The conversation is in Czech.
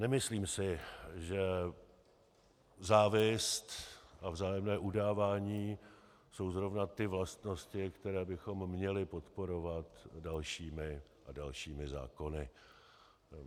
Nemyslím si, že závist a vzájemné udávání jsou zrovna ty vlastnosti, které bychom měli podporovat dalšími a dalšími zákony.